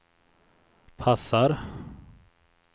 passar